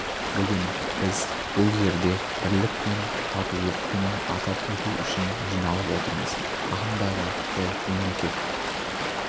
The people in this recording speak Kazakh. бүгін біз бұл жерде бірлік пен татулық күнін атап өту үшін жиналып отырмыз ағымдағы жыл мемлекет